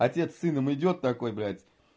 отец с сыном идёт такой блять